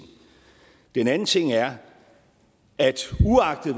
den anden ting er at uagtet